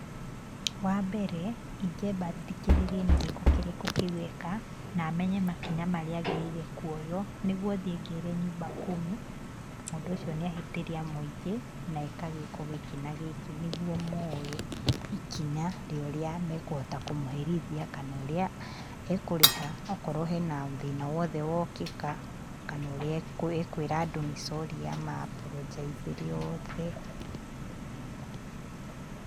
Wa mbere ingĩamba thikĩrĩrie nĩ gĩko kĩrĩkũ kĩu eka, na menye makinya marĩa agĩrĩire kũoywo, nĩguo thiĩ ngere nyumba kumi mũndũ ũcio nĩ ahĩtĩria mũingĩ na eka gĩĩko gĩkĩ na gĩkĩ, nĩguo moe ikinya rĩa ũrĩa makũhota kũmũherithia, kana ũrĩa e kũrĩha, okorwo hena thĩna wothe wokĩka, kana ũrĩa ekwĩra andũ nĩ sorry ama amboronjaicĩre othe.